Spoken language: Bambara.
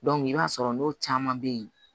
i b'a sɔrɔ n'o caman bɛ ye